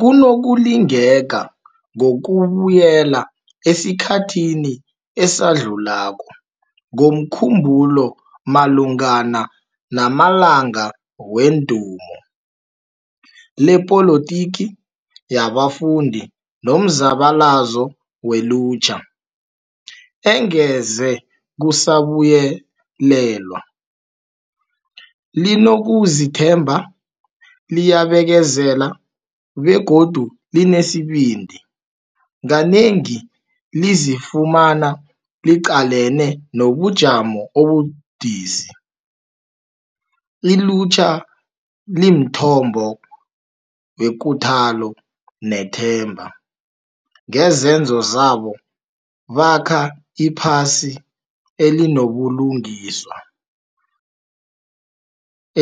Kunokulingeka ngokubuyela esikhathini esadlulako ngomkhumbulo malungana 'namalanga wedumo' lepolotiki yabafundi nomzabalazo welutjha, engeze kusabuyelelwa. Linokuzithemba, liyabekezela begodu linesibindi, kanengi lizifumana liqalene nobujamo obubudisi. Ilutjha limthombo wekuthalo nethemba. Ngezenzo zabo, bakha iphasi elinobulungiswa,